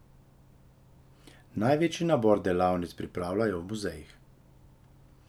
Največji nabor delavnic pripravljajo v muzejih.